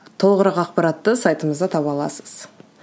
толығырақ ақпаратты сайтымызда таба аласыз